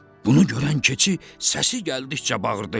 Bunu görən keçi səsi gəldikcə bağırdı: